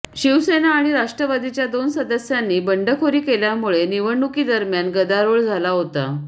शिवसेना आणि राष्ट्रवादीच्या दोन सदस्यांनी बंडखोरी केल्यामुळे निवडणुकीदरम्यान गदारोळ झाला होता